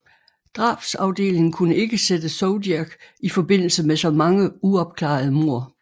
Drabsafdelingen kunne ikke sætte Zodiac i forbindelse med så mange uopklarede mord